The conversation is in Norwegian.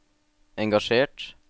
engasjert